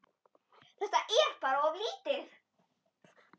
Þetta er bara of lítið.